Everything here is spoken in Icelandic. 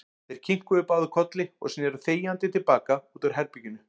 Þeir kinkuðu báðir kolli og sneru þegjandi til baka út úr herberginu.